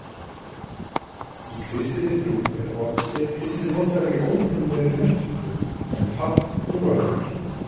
Í kristinni trú er hornsteinn einnig notaður í óeiginlegri merkingu sem tákn trúarinnar.